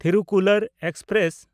Thirukkural express